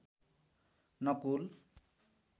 Nakul